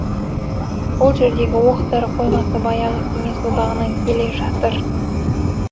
ол жердегі оқ дәрі қоймасы баяғы кеңес одағынан келе жатыр